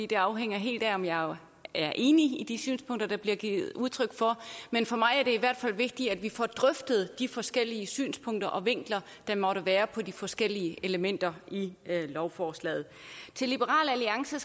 det afhænger helt af om jeg er enig i de synspunkter der bliver givet udtryk for men for mig er det i hvert fald vigtigt at vi får drøftet de forskellige synspunkter og vinkler der måtte være på de forskellige elementer i lovforslaget til liberal alliance